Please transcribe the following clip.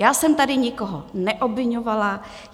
Já jsem tady nikoho neobviňovala.